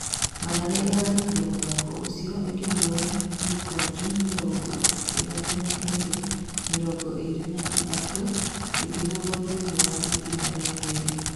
Mathare ĩrarĩkirie mũthako ũcio ĩkĩhũra mĩkwanjũ mĩrongo ĩthatũ na ĩrĩ, mĩrongo ĩrĩ na ĩtatũ ĩkĩhũrwo thĩiniĩ wa itĩna rĩa kerĩ.